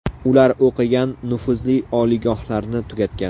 Ular o‘qigan, nufuzli oliygohlarni tugatgan.